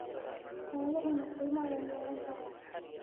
xooluhuna qiimo ayey yeelan karaan.